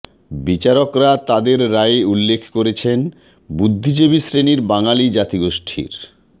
বিচারকরা তাদের রায়ে উল্লেখ করেছেন বুদ্ধিজীবী শ্রেণি বাঙালি জাতিগোষ্ঠীর